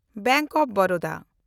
bank of Baroda